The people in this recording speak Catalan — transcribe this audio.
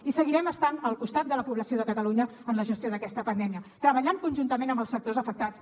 i seguirem estant al costat de la població de catalunya en la gestió d’aquesta pandèmia treballant conjuntament amb els sectors afectats